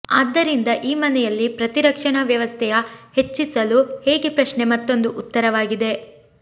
ಆದ್ದರಿಂದ ಈ ಮನೆಯಲ್ಲಿ ಪ್ರತಿರಕ್ಷಣಾ ವ್ಯವಸ್ಥೆಯ ಹೆಚ್ಚಿಸಲು ಹೇಗೆ ಪ್ರಶ್ನೆ ಮತ್ತೊಂದು ಉತ್ತರವಾಗಿದೆ